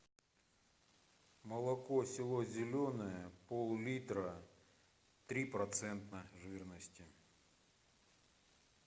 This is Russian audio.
молоко село зеленое пол литра три процента жирности